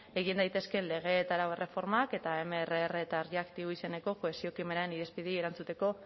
egin daitezkeen lege hau erreformak eta mrr eta erreaktibo izeneko erantzuteko